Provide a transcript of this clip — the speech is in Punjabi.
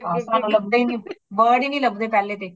ਹਾਂ ਸਾਨੂ ਲੱਬਦੇ ਹੈ ਨਹੀਂ , word ਹੀ ਨਹੀਂ ਲੱਬਦੇ ਪਹਲੇ ਤੇ